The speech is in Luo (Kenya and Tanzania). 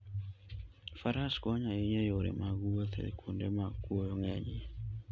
Faras konyo ahinya e yore mag wuoth e kuonde ma kuoyo ng'enyie.